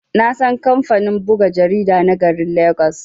Nasan kamfanin buga jarida na garin legas.